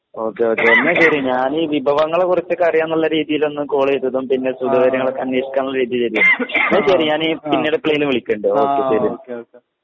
okay okay എന്ന ശെരി ഞാന് വിഭവങ്ങളെ കുറിച്ചിട്ടറിയാന്നുള്ള രീതീലൊന്ന് കോളീതതും പിന്നെ സുഖ വിവരങ്ങളൊക്കെ അന്വേഷിക്കാ എന്നുള്ള രീതീലേന്നു ഇന്നാ ശെരി ഞാന് പിന്നീടെപ്പളേലും വിളിക്കണ്ട് ഓക്കെ ശെരി